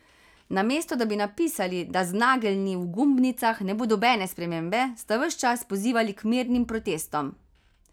Namesto da bi napisali, da z nageljni v gumbnicah ne bo nobene spremembe, ste ves čas pozivali k mirnim protestom.